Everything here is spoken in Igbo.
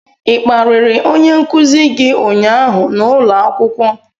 ị kparịrị onye nkuzi gị ụnyaahụ n'ụlọ akwụkwọ?